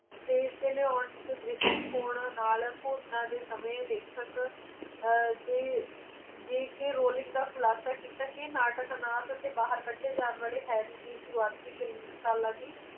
ਤੇ ਇਸ ਦੇ ਲਿਆਉਣ ਦ੍ਰਿਸ਼ਟੀਕੋਣਾਂ ਦੇ ਨਾਲ ਘੋਸ਼ਣਾ ਦੇ ਸਮੇਂ ਲੇਖਕ ਅਜਿਹੇ j k rolline ਦਾ ਖੁਲਾਸਾ ਕੀਤਾ ਕੇ ਨਾਟਕ ਨਾਲ ਕੱਢੇ ਜਾਣ ਵਾਲੇ harry ਦੀ ਸ਼ੁਰੂਆਤੀ film ਸਾਲਾਂ ਦੀ